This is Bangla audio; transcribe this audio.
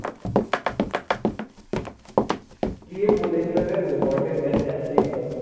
কে বলেছিল রে, robot এর কাছে যাচ্ছে এই কথাগুলো।